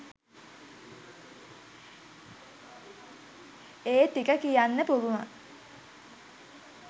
ඒ ටික කියන්න පුළුවන.